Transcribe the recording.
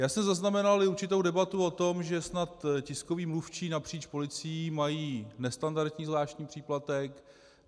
Já jsem zaznamenal i určitou debatu o tom, že snad tiskoví mluvčí napříč policií mají nestandardní zvláštní příplatek.